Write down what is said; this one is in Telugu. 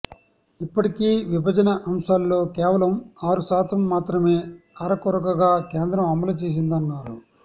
ఇప్పటికీ విభజన అంశాల్లో కేవలం ఆరు శాతం మాత్రమే అరకొరగా కేంద్రం అమలు చేసిందన్నారు